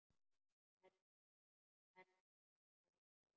Erni var nóg boðið.